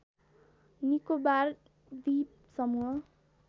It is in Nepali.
निकोबार द्वीप समूह